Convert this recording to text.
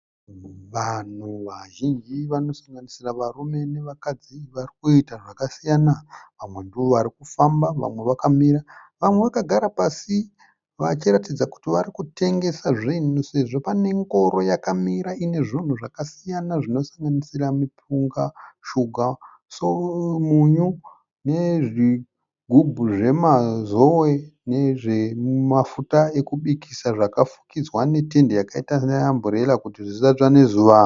Vanhu vazhinji vanosanganisira varume nevakadzi varikuita zvakasiyana. Vamwe ndovarikufamba, vamwe vakamira. Vamwe vakagara pasi. Vachiratidza kuti varikutengesa zvinhu sezvo pane ngoro yakamira inezvinhu zvakasiyana zvinosanganisira mupunga, shuga, munyu nezvigubhu zvemazowe nezvemafuta ekubikisa zvakafukidzwa netende yakaita se amburera kuti zvisatsva nezuva.